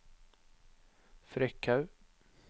Frekhaug